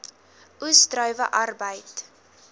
oes druiwe arbeid